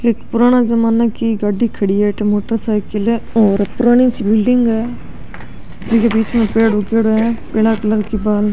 एक पुराना जमाना की गाड़ी खड़ी है अठे मोटरसाईकिल है और पुरानी सी बिलडिंग है जीके बीच में पेड़ उगेडो है पिला कलर की बा --